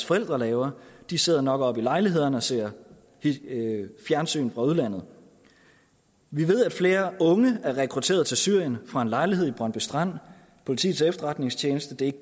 forældre laver de sidder nok op i lejlighederne og ser fjernsyn fra udlandet vi ved at flere unge er rekrutteret til syrien fra en lejlighed i brøndby strand politiets efterretningstjeneste